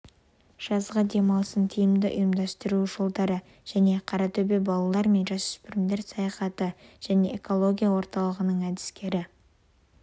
жазғы демалысын тиімді ұйымдастыру жолдары және қаратөбе балалар мен жасөспірімдер саяхаты және экология орталығының әдіскері